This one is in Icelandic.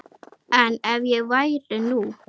En ef ég væri nú.